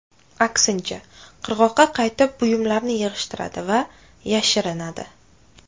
Aksincha, qirg‘oqqa qaytib, buyumlarini yig‘ishtiradi va yashirinadi.